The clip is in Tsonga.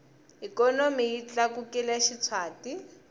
ikhonomi yi tlakukile xitshwati